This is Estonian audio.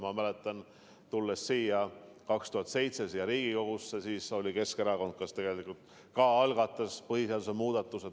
Ma mäletan, tulnud 2007 siia Riigikogusse, siis oli Keskerakond see, kes tegelikult algatas põhiseaduse muudatuse.